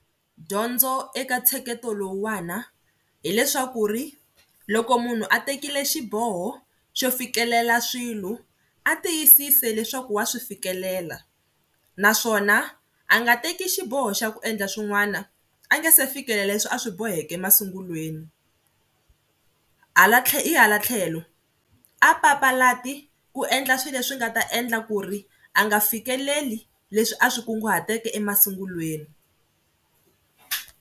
Dyondzo eka ntsheketo lowuwani hileswaku ri loko munhu a tekile xiboho xo fikelela swilo a tiyisisi leswaku wa swi fikelela naswona a nga teki xiboho xa ku endla swin'wana a nge se fikelela leswi a swi boheke masungulweni. Hala hi hala tlhelo a papalati ku endla swilo leswi nga ta endla ku ri a nga fikeleli leswi a swi kunguhateke emasungulweni.